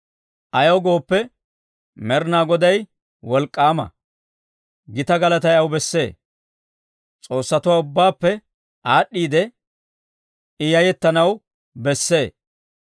Ayaw gooppe, Med'inaa Goday wolk'k'aama; gita galatay aw bessee. S'oossatuwaa ubbaappe aad'd'iide I yayettanaw bessee.